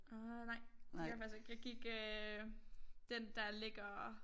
Øh nej det gjorde jeg faktisk ikke jeg gik øh den der ligger